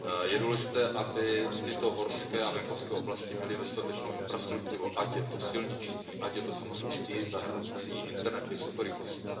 Je důležité, aby tyto horské a venkovské oblasti měly dostatečnou infrastrukturu, ať je to silniční, ať je to samozřejmě i internet vysokorychlostní.